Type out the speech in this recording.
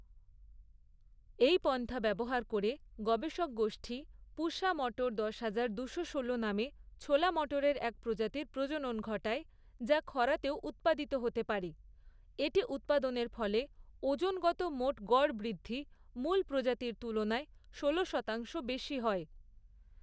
এই পন্থা ব্যবহার করে, গবেষক গোষ্ঠী ‘পুসা মটর দশ হাজার, দুশো ষোলো’ নামে ছোলা মটরের এক প্রজাতির প্রজনন ঘটায় যা খরাতেও উৎপাদিত হতে পারে, এটি উৎপাদনের ফলে ওজনগত মোট গড় বৃদ্ধি মূল প্রজাতির তুলনায় ষোলো শতাংশ বেশী হয়।